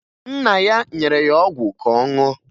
Nna ya nyere ọgwụ ka ọ ṅụọ